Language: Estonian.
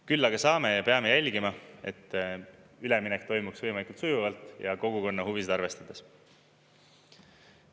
Küll aga saame ja peame jälgima, et üleminek toimuks võimalikult sujuvalt ja kogukonna huvisid arvestades.